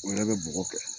O yɛrɛ bɛ bɔgɔ kɛ